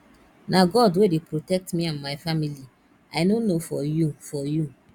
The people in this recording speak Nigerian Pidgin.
na god wey dey protect me and my family i no know for you for you